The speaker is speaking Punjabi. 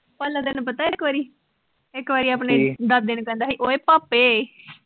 ਭਾਲਾ ਤੈਨੂੰ ਪਤਾ ਇਕ ਵਾਰੀ, ਇਕ ਵਾਰੀ, ਕਿ, ਆਪਣੇ ਦਾਦੇ ਨੂੰ ਕਹਿੰਦਾ ਸੀ ਓਏ ਪਾਪੇ।